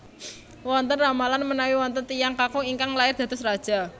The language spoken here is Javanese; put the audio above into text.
Wonten ramalan menawi wonten tiyang kakung ingkang lair dados raja